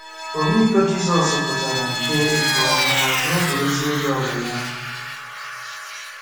Ọmịiko Jizọs pụtara nke nke ọma n’oge ozi elu ala ya.